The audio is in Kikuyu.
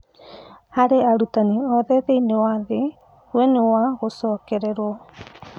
"Harĩ arutani othe thĩiniĩ wa thĩ, we nĩ wa gũcokererwo.